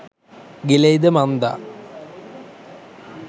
ගිලෙයිද මන්දා?